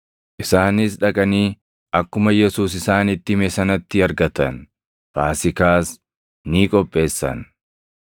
Isaanis dhaqanii akkuma Yesuus isaanitti hime sanatti argatan. Faasiikaas ni qopheessan.